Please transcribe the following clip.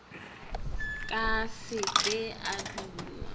ke se ke o dungwa